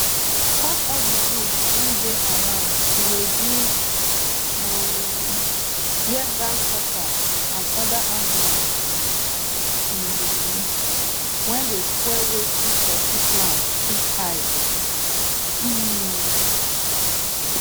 cut all the bush wey dey around to reduce um where grasshoppers and other animal um wey dey spoil wetin pesin plant fit hide um